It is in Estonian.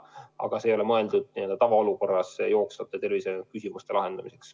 See kord ei ole mõeldud tavaolukorras jooksvate tervishoiuküsimuste lahendamiseks.